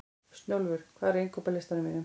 Snjólfur, hvað er á innkaupalistanum mínum?